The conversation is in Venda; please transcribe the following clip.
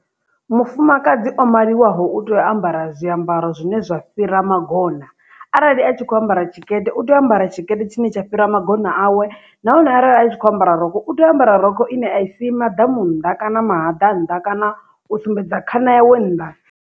Mufumakadzi o maliwaho u tea u ambara zwiambaro zwine zwa fhira magona arali a tshi kho ambara tshikete u tea u ambara tshikete tshine tsha fhira magona awe nahone arali a tshi kho ambara rokho u tea u ambara rokho ine a i si maḓamu nnḓa kana mahaḓa nnḓa kana u sumbedza khana yawe nnḓa.